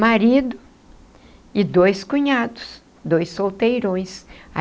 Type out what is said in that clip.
marido e dois cunhados, dois solteirões.